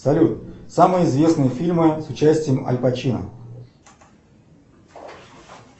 салют самые известные фильмы с участием аль пачино